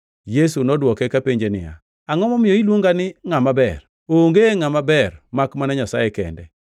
Yesu nodwoke kapenje niya, “Angʼo momiyo iluonga ni ngʼama ber? Onge ngʼama ber makmana Nyasaye kende.